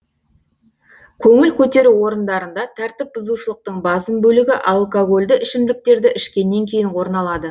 көңіл көтеру орындарында тәртіп бұзушылықтың басым бөлігі алкогольді ішімдіктерді ішкеннен кейін орын алады